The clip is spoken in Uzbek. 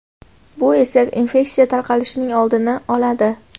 bu esa infeksiya tarqalishining oldini oladi.